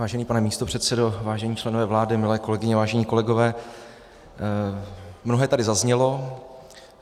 Vážený pane místopředsedo, vážení členové vlády, milé kolegyně, vážení kolegové, mnohé tady zaznělo.